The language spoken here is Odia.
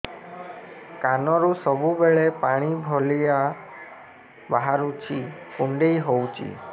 କାନରୁ ସବୁବେଳେ ପାଣି ଭଳିଆ ବାହାରୁଚି କୁଣ୍ଡେଇ ହଉଚି